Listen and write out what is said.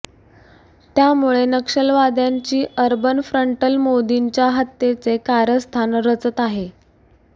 त्यामुळे नक्षलवाद्यांची urban frontal मोदींच्या हत्येचे कारस्थान रचत आहे